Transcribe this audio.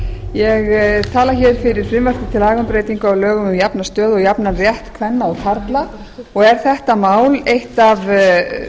ég tala fyrir frumvarpi til laga um breytingu á lögum um jafna stöðu og jafnan rétt kvenna og karla og er þetta mál eitt af